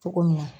Cogo min na